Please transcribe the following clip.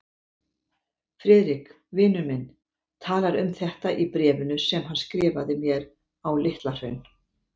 Friðrik, vinur minn, talar um þetta í bréfinu sem hann skrifaði mér á Litla-Hraun.